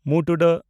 ᱸ